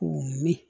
K'u mi